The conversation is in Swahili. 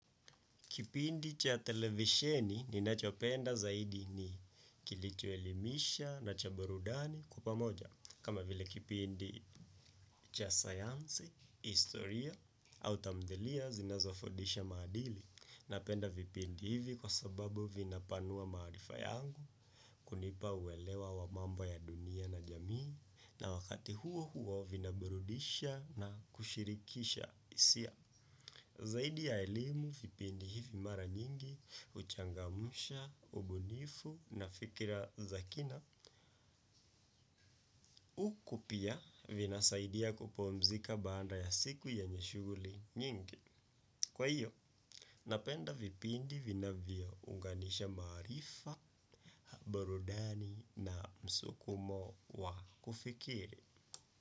Kipindi cha televisheni ninachopenda zaidi ni kilichoelimisha na cha burudani kwa pamoja. Kama vile kipindi cha sayansi, historia au tamthilia zinazofundisha maadili napenda vipindi hivi kwa sababu vinapanua maarifa yangu kunipa uelewa wa mambo ya dunia na jamii na wakati huo huo vinaburudisha na kushirikisha hisia. Zaidi ya elimu, vipindi hivi mara nyingi, huchangamsha, ubunifu na fikira za kina, huku pia vinasaidia kupumzika baada ya siku yenye shughuli nyingi. Kwa hiyo, napenda vipindi vinavyounganisha maarifa, burudani na msukumo wa kufikiri.